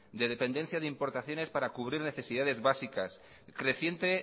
de dependencia de importaciones para cubrir necesidades básicas creciente